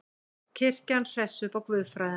Kirkjan hressi upp á guðfræðina